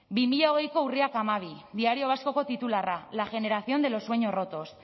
bi mila hogeiko urriak hamabi diario vascoko titularra la generación de los sueños rotos